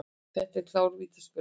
Þetta var klár vítaspyrna.